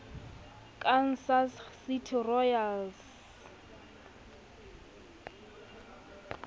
kansas city royals